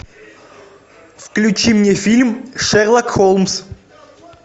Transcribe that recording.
включи мне фильм шерлок холмс